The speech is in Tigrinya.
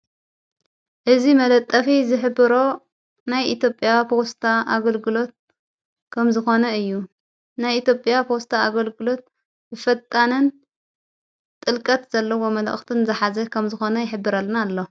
እዝ መለጠፊ ዝሕብሮ ናይ ኢትጴያ ጶስታ ኣገልግሎት ከም ዝኾነ እዩ ናይ ኢትጵያ ፖስተ ኣገልግሎት ብፈጣንን ጥልቀት ዘለዎመልእኽትን ዝኃዘሕ ከም ዝኾነ ይኅብርልና ኣሎ።